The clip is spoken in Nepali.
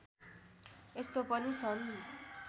यस्तो पनि छन्